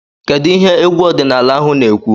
Kedu ihe egwu ọdịnala ahụ na-ekwu?